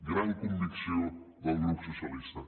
gran convicció del grup socialistes